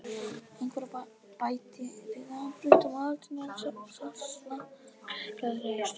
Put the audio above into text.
Einhver bætti viðarbútum á eldinn og það snarkaði glaðlega í stónni.